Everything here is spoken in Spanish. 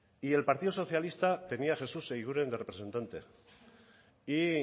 y el partido socialista tenía a jesús eguiguren de representante y